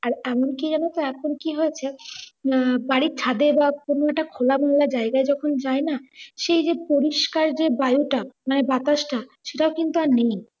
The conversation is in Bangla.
আর এমন কি যেন তো এখন কি হয়েছে হম বাড়ির ছাঁদে বা কোনও একটা খোলামেলা জায়গায় যখন জাইনা সেই যে পরিস্কার যে বায়ুটা মানে বাতাস টা সেটা কিন্তু আর নেই।